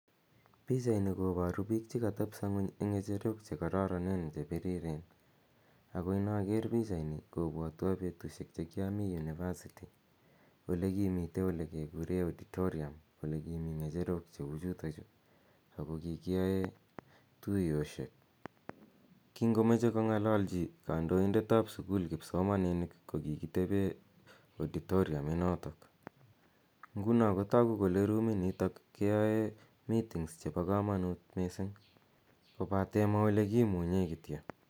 Pichaini koparubpil che katepiso ng'uny eng' ng'echerok che kararanen che piriren ako inaker pichaini kopwatwa petushek che kiami University ole kimitei ole kekure auditorium ole kimi ng'echerok cheu chutachu ako kikiyae tuyoshek. Kingomache kong'alalchi kandoindet ap sukul kipsomaninik ko kikitepe auditorium inotok. Nguno ko tagu kole ruminitok keyae meetings chepo kamanut missing' kopate ma ole kimunye kityo.